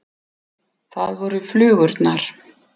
Það voru flugurnar.